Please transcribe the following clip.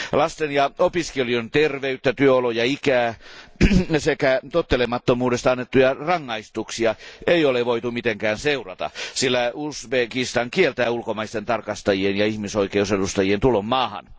Lasten ja opiskelijoiden terveyttä, työoloja, ikää ja tottelemattomuudesta annettuja rangaistuksia ei ole voitu mitenkään seurata, sillä Uzbekistan kieltää ulkomaisten tarkastajien ja ihmisoikeusedustajien tulon maahan.